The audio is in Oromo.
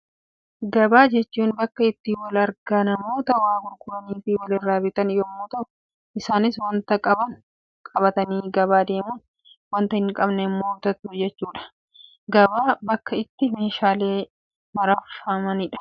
Gabaa jechuun bakka itti wal argaa namoota waa gurguranii fi walirra bitan yemmuu ta'u, isaanis waanta qaban qabatanii gabaa deemuun, waanta hin qabne immoo bitatu jechuudha. Gabaan bakka itti meeshaalee sharafamanidha.